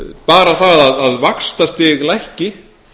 bara það að vaxtastig lækki